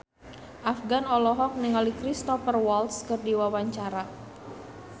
Afgan olohok ningali Cristhoper Waltz keur diwawancara